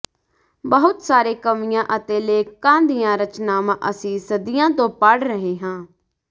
ਬਹੁਤ ਸਾਰੇ ਕਵੀਆਂ ਅਤੇ ਲੇਖਕਾਂ ਦੀਆਂ ਰਚਨਾਵਾਂ ਅਸੀਂ ਸਦੀਆਂ ਤੋਂ ਪੜ੍ਹ ਰਹੇ ਹਾਂ